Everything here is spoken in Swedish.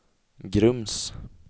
Grums